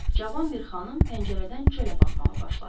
Cavan bir xanım pəncərədən çölə baxmağa başladı.